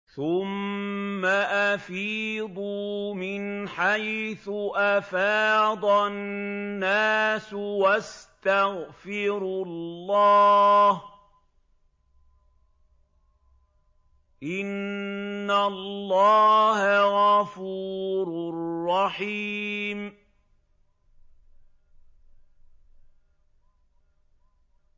ثُمَّ أَفِيضُوا مِنْ حَيْثُ أَفَاضَ النَّاسُ وَاسْتَغْفِرُوا اللَّهَ ۚ إِنَّ اللَّهَ غَفُورٌ رَّحِيمٌ